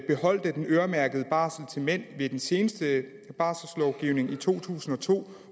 beholdt den øremærkede barsel til mænd ved den seneste barselslovgivning i to tusind og to